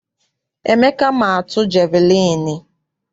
Emeka ma atu jeviliini.